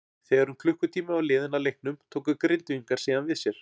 Þegar um klukkutími var liðinn af leiknum tóku Grindvíkingar síðan við sér.